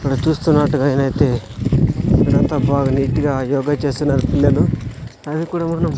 ఇక్కడ చూస్తున్నట్టుగా నైతే ఇక్కడంతా బాగా నీటు గా యోగ చేస్తున్నారు పిల్లలు దానిక్కూడ మనం--